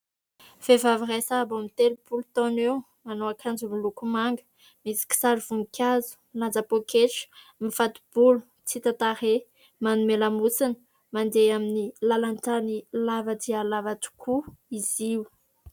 Vehivavy iray sahabo amin'ny telopolo taona eo. Manao akanjo miloko manga, misy kisary voninkazo ; milanja poketra ; mifato-bolo ; tsy hita tarehy. Manome lamosina, mandeha amin'ny lalan-tany lava dia lava tokoa izy io.